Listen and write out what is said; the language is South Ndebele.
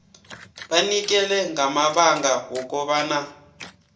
banikele ngamabanga wokobana